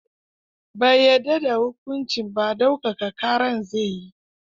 Bai yadda da hukuncin ba, ɗaukaka ƙara zai yi.